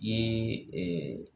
I ye